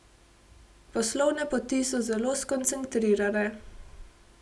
Poslovne poti so zelo skoncentrirane.